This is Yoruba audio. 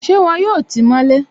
Ṣé wọn yóò tí mọ́ lé?